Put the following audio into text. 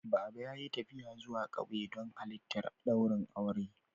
Baba ya yi tafiya zuwa ƙauye don halittar ɗaurin aure